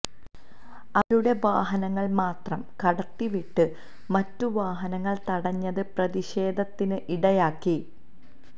അവരുടെ വാഹനങ്ങള് മാത്രം കടത്തി വിട്ട് മറ്റു വാഹനങ്ങള് തടഞ്ഞത് പ്രതിഷേധത്തിന് ഇടയാക്കി